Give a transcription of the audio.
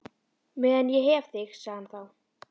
Meðan ég hef þig sagði hann þá.